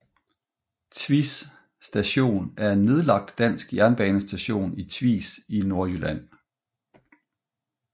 Tvis Station er en nedlagt dansk jernbanestation i Tvis i Nordvestjylland